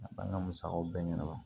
A b'an ka musakaw bɛɛ ɲɛna